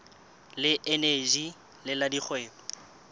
le eneji le la dikgwebo